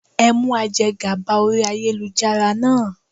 Ẹ mú aje gàba orí ayélujára náà.